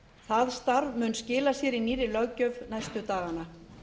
það starf mun skila sér í nýrri löggjöf næstu dagana